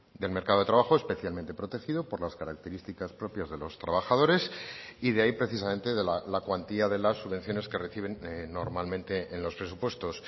del mercado de trabajo especialmente protegido por las características propias de los trabajadores y de ahí precisamente la cuantía de las subvenciones que reciben normalmente en los presupuestos